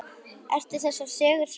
Eru þessar sögur sannar?